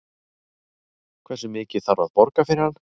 Hversu mikið þarf að borga fyrir hann?